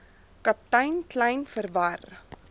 kaptein kleyn verwar